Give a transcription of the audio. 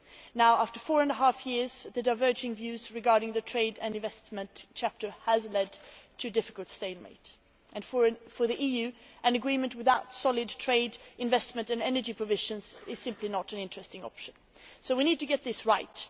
Now after four and a half years the diverging views regarding the trade and investment chapter has led to a difficult stalemate, and for the EU an agreement without solid trade investment and energy provisions is simply not an interesting option. So we need to get this right.